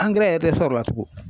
Angɛrɛ yɛrɛ tɛ sɔrɔ o la tugun